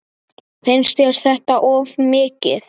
Finnst þér þetta of mikið?